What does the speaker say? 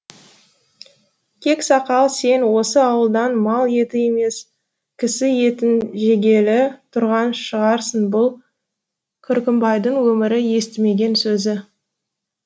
кексакал сен осы ауылдан мал еті емес кісі етін жегелі тұрған шығарсын бұл күркімбайдың өмірі естімеген сөзі